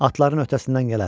Atların öhdəsindən gələr.